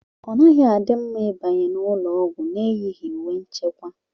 Ọ naghị adi mma ịbanye n'ụlọọgwụ n'eyighi uwe nchekwa